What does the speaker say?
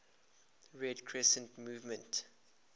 red crescent movement